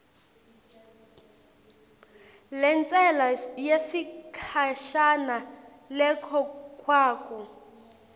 lentsela yesikhashana lekhokhwako